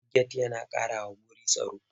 Get yana ƙarawa wuru tsaro.